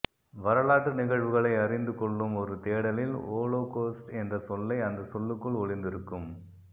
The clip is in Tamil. வரலாற்று நிகழ்வுகளை அறிந்துக் கொள்ளும் ஒரு தேடலில் ஹோலோகொஸ்ட் என்ற சொல்லை அந்தச் சொல்லுக்குள் ஒளிந்திருக்கும்